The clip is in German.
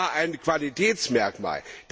Das war ein Qualitätsmerkmal.